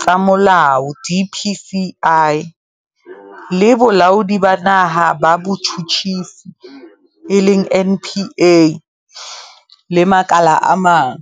tsa Molao, DPCI, le Bolaodi ba Naha ba Botjhutjhisi, NPA, le makala a mang.